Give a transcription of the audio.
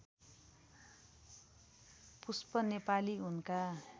पुष्प नेपाली उनका